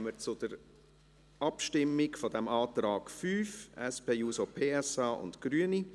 Damit kommen wir zur Abstimmung über den Antrag 5, SP-JUSO-PSA und Grüne.